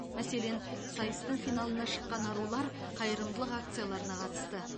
мәселен сайыстың финалына шыққан арулар қайырымдылық акцияларына қатысты